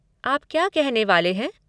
आप क्या कहने वाले हैं?